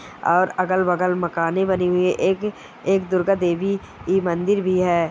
और अगल-बगल मकानें बनी हुई है। एक एक दुर्गा देवी की मंदिर भी है।